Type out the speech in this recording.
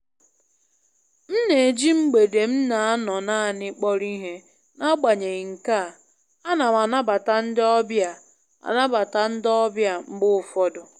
M na-eji mgbede m na-anọ naanị kpọrọ ihe, n'agbanyeghị nke a, ana m anabata ndị ọbịa anabata ndị ọbịa mgbe ụfọdụ.